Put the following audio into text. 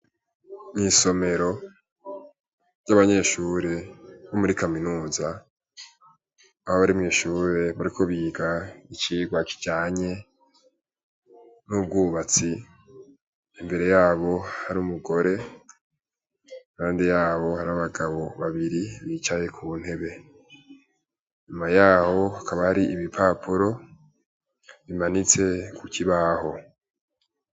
Mw'isomero ry'abanyeshure bo muri kaminuza, aho bari mw'ishure bariko bariga icirwa kijanye n'ubwubatsi, imbere yabo har'umugore, impande yabo har'abagabo babiri bicaye kuntebe, inyuma yaho hakaba har' ibipapuro bibiri bimanitse kukibaho.